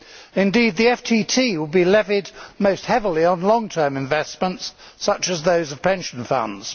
Indeed, the FTT would be levied most heavily on long term investments such as those of pension funds.